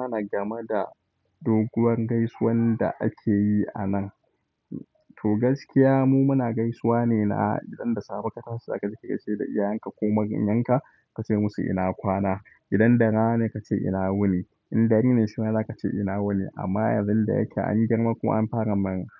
Muna gama da doguwar gaisuwan da akeyi anan. To gaskiya mu muna gaisuwa ne na idan da safe ka tashe za kaje ka gaishe da iyayenka ko maganyanka kace musu ina kwana. Idan da rana ne kace ina wuni. In dare ne shima zakace ina wuni. Amma yanzu da yake an girma kuma an fara